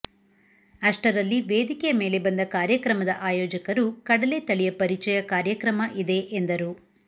ಅಷ್ಟರಲ್ಲಿ ವೇದಿಕೆಯ ಮೇಲೆ ಬಂದ ಕಾರ್ಯಕ್ರಮದ ಆಯೋಜಕರು ಕಡಲೆ ತಳಿಯ ಪರಿಚಯ ಕಾರ್ಯಕ್ರಮ ಇದೆ ಎಂದರು